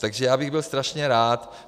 Takže já bych byl strašně rád...